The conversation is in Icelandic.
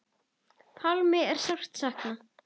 Pálma er sárt saknað.